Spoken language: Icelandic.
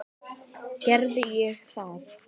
Gerði ég það?